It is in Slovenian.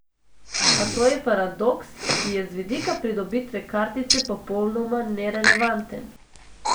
A to je paradoks, ki je z vidika pridobitve kartice popolnoma nerelevanten.